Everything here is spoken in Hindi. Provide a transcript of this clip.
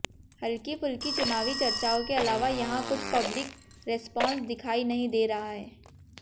हल्की फुल्की चुनावी चर्चाओं के अलावा यहां कुछ पब्लिक रेस्पांस दिखाई नहीं दे रहा है